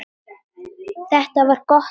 Þetta var gott skref.